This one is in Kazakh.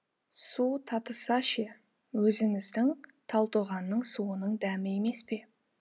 су татыса ше өзіміздің талтоғанның суының дәмі емес пе